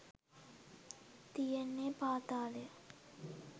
තියෙන්නෙ පාතාලය.